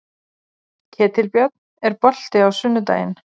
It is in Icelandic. Ketilbjörn, er bolti á sunnudaginn?